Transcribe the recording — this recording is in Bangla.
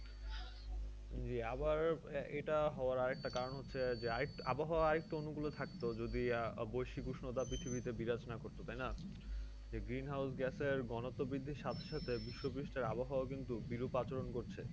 জী আহ আবার এটা হওয়ার আরেকটা কারণ হচ্ছে আরেক আবহাওয়া আরেকটু অনুকুলে থাকতো যদি আহ বৈশ্বিক উষ্ণতা পৃথিবীতে বিরাজ না করতো তাইনা? যে গ্রিন হাউস গ্যাসের ঘনত্ব বৃদ্ধি সাথে সাথে বিশ্ব প্রস্টের আবহাওয়া কিন্তু বিরূপ আচরণ করছে।